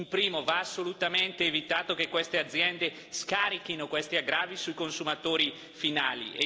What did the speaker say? In primis, va assolutamente evitato che queste aziende scarichino questi aggravi sui consumatori finali.